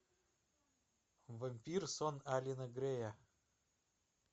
вампир сон алена грея